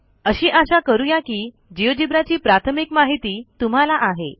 अशी आशा करू या की Geogebraची प्राथमिक माहिती तुम्हाला आहे